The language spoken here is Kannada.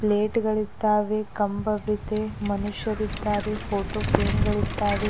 ಪ್ಲೇಟ್ ಗಳಿದ್ದಾವೆ ಕಂಬವಿದೆ ಮನುಷ್ಯರಿದ್ದಾರೆ ಫೋಟೋ ಫ್ರೇಮ್ ಗಳಿದ್ದಾವೆ.